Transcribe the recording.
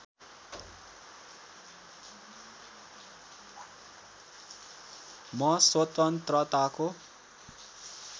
म स्वतन्त्रताको